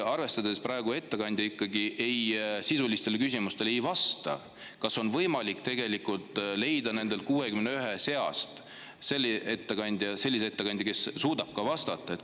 Arvestades praegu seda, et ettekandja ikkagi sisulistele küsimustele ei vasta, kas on võimalik leida nende 61 seast selline ettekandja, kes suudab vastata?